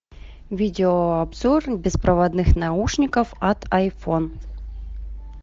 видео обзор беспроводных наушников от айфон